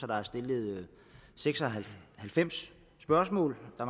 der er stillet seks og halvfems spørgsmål og